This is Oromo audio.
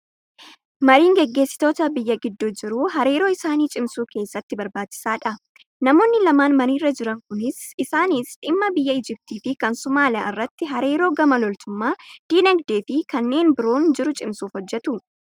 Mariin gaggeessitoota biyya gidduu jiru hariiroo isaanii cimsuu keessatti barbaachisaadha. Namoonni lamaan mariirra jiran kunis isaanis dhimma biyya Igiptii fi kan Somaaliyaa irratti hariiroo gama loltummaa, dinagdee fi kanneen biroon jiru cimsuuf hojjatu.